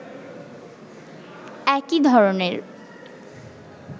একই ধরনের